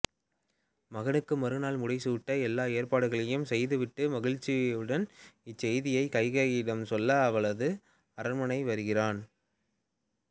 மகனுக்கு மறுநாள் முடிசூட்ட எல்லா ஏற்பாடுகளையும் செய்துவிட்டு மகிழ்ச்சியுன் இச்செய்தியை கைகேயியிடம் சொல்ல அவளது அரண்மனை வருகிறான்